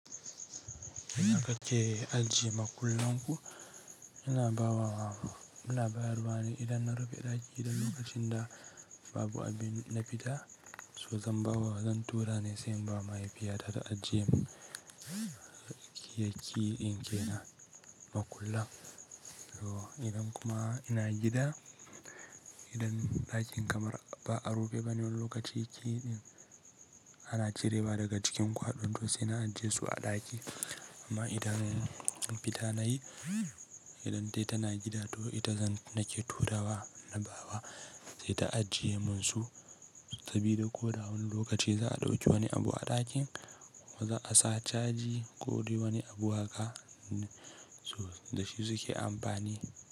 In aka ke ajiye makullan ku, ina bawa wa, ina bayarwa ne idan na rufe ɗaki idan lokacin da babu abin na fita, so zan bawa zan tura ne sai ba mahaifiyata ta ajiye kayayyakin ke na makulla. So idan kuma ina gida, idan ɗakin kamar ba a rufe ba ne wani lokaci, kayayyakin ana cirewa daga jikin kwaɗon to sai na ajiye su a ɗaki. Amma idan na fita nayi, idan dai tana gida toh ita zan nake turawa na bawa sai ta ajiye mun su sabida ko da wani lokaci za a ɗauki wani abu a ɗakin ko ma za a sa caji ko dai wani abu haka da shi suke amfani.